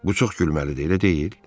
Bu çox gülməlidir, elə deyil?